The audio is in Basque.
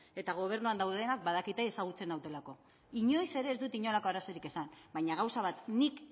eta gobernuan daudenak badakite ezagutzen nautelako inoiz ere ez dut inolako arazorik izan baina gauza bat nik